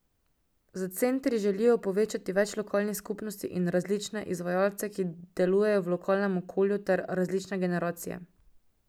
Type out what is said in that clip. Z centri želijo povezati več lokalnih skupnosti in različne izvajalce, ki delujejo v lokalnem okolju ter različne generacije.